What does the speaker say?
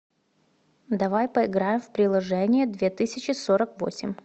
давай поиграем в приложение две тысячи сорок восемь